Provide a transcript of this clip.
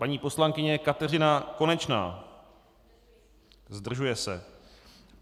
Paní poslankyně Kateřina Konečná: Zdržuje se.